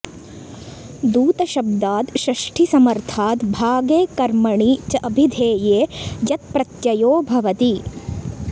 दूतशब्दात् षष्ठीसमर्थाद् भागे कर्मणि च अभिधेये यत् प्रत्ययो भवति